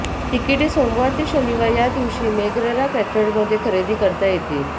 तिकिटे सोमवार ते शनिवार या दिवशी मेगररा कॅथेड्रलमध्ये खरेदी करता येतील